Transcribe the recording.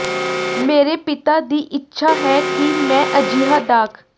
ਮੇਰੇ ਪਿਤਾ ਦੀ ਇੱਛਾ ਹੈ ਕਿ ਮੈਂ ਅਜਿਹਾ ਡਾਕ